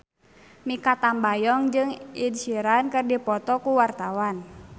Mikha Tambayong jeung Ed Sheeran keur dipoto ku wartawan